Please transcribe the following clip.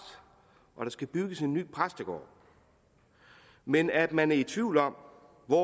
og skal bygges en ny præstegård men at man er i tvivl om hvor